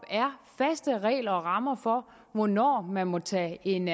faste regler og rammer for hvornår man må tage en